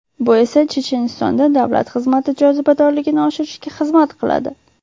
Bu esa Chechenistonda davlat xizmati jozibadorligini oshirishga xizmat qiladi.